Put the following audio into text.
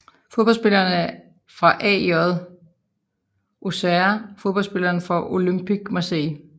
Fodboldspillere fra AJ Auxerre Fodboldspillere fra Olympique Marseille